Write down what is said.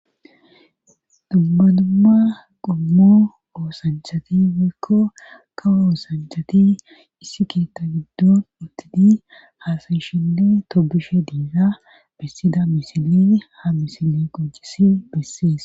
dubba dumma qummo oosanchati wikko kawooosanchati issi keetta giddon ottidi haasayishile toobishe diiza bessida misilin ha misili qojisi bessees